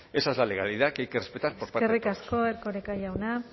esa es la legalidad que hay que respetar por parte de todos eskerrik asko erkoreka jauna